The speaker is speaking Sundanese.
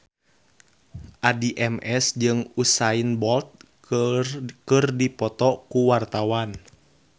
Addie MS jeung Usain Bolt keur dipoto ku wartawan